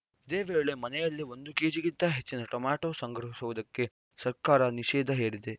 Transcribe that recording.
ಇದೇ ವೇಳೆ ಮನೆಯಲ್ಲಿ ಒಂದು ಕೆಜಿಗಿಂತ ಹೆಚ್ಚಿನ ಟೊಮೆಟೊ ಸಂಗ್ರಹಿಸುವುದಕ್ಕೆ ಸರ್ಕಾರ ನಿಷೇಧ ಹೇರಿದೆ